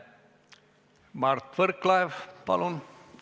Mart Võrklaev, palun!